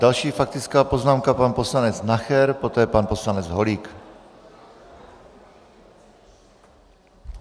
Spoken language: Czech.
Další faktická poznámka, pan poslanec Nacher, poté pan poslanec Holík.